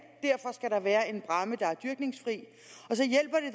og der være en bræmme der er dyrkningsfri